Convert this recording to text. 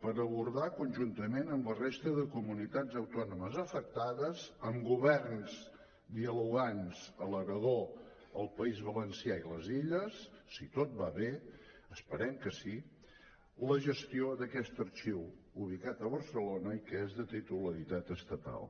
per abordar conjuntament amb la resta de comunitats autònomes afectades amb governs dialogants a l’aragó al país valencià i a les illes si tot va bé esperem que sí la gestió d’aquest arxiu ubicat a barcelona i que és de titularitat estatal